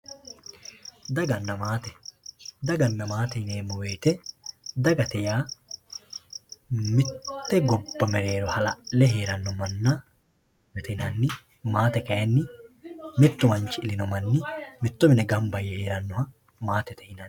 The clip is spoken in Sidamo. daganna maate daganna maate yineemmo wote dagate yaa mitte gobba mereero hala'le heeranno manna dagate yinanni maate kayiinni mittu manchi ilino manni mitto mine gamba yee heeranno manna maatete yinanni.